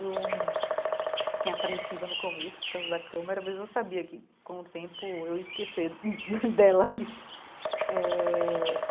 Eu fiquei apreensiva no começo, por causa da câmera, mas eu sabia que, com o tempo, eu ia esquecer dela ali eh.